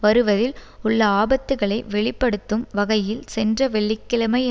வருவதில் உள்ள ஆபத்துக்களை வெளி படுத்தும் வகையில் சென்ற வெள்ளி கிழமை